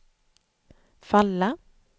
falla